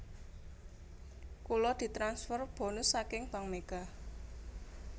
Kula ditransfer bonus saking Bank Mega